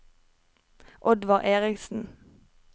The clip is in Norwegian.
Oddvar Eriksen